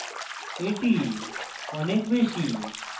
এটি অনেক বেশী